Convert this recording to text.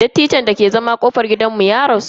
Dattijon dake zama a kofar gidanmu ya rasu.